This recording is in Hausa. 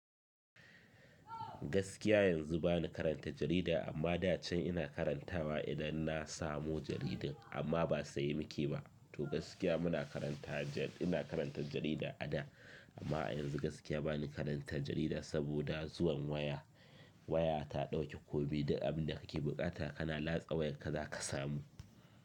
Gaskiya yanzu bani karanta jarida amma da can ina karantawa idan na samu jaridan. Amma ba siya nake ba. To gaskiya muna karanta ina karanta jarida ada amma a yanzu gaskiya bani karantar jarida saboda zuwan waya. Waya ta dauke komi duk abinda kake bukata kana latsa wayarka za ka samu.